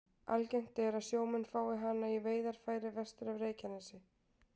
Algengt er að sjómenn fái hana í veiðarfæri vestur af Reykjanesi.